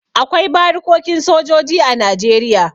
Akwai barikokin sojoji a Najeriya.